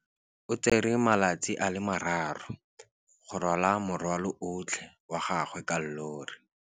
O tsere malatsi a le marraro go rwala morwalo otlhe wa gagwe ka llori.